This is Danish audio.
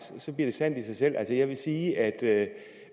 bliver sandt i sig selv altså jeg vil sige at